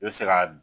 I bɛ se ka